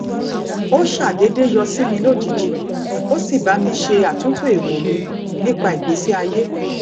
ó ṣàdédé yọ sí mi lójijì ó sì ba mi se atunto erò mi nípa ìgbésí ayé